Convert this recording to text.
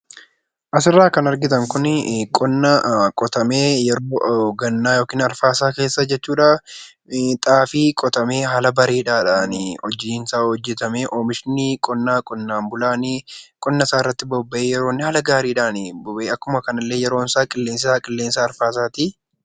Asirraa kan argitan kun qonna qotamee yookaan waqtii gannaa keessa jechuudha xaafii qotamee haala bareedaadhaan hojiinsaa hojjatamee oomishni qonnaan bulaan hojiisaarratti bobba'ee haala gaariin akkuma kanallee qilleensisaa qilleensa arfaasaati.